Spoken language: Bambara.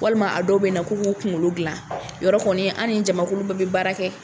Walima a dɔw bɛ na ku k'u kunkolo gilan yɔrɔ kɔni an ni jamakulu bɛɛ bɛ baara kɛ.